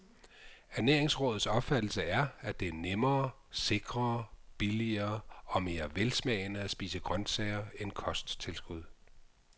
Ernæringsrådets opfattelse er, at det er nemmere, sikrere, billigere og mere velsmagende at spise grøntsager end kosttilskud.